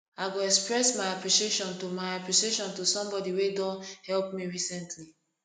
i go express my appreciation to my appreciation to someone wey don help me recently